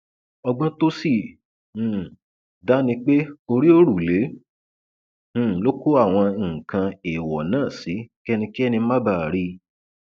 ọgbọn tó sì um dá ni pé orí òrùlé um ló kó àwọn nǹkan ẹẹwọn náà sí kẹnikẹni má bàa rí i